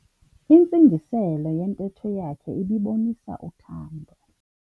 Intsingiselo yentetho yakhe ibibonisa uthando.